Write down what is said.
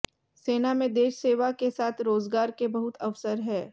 सेना में देश सेवा के साथ रोजगार के बहुत अवसर हैं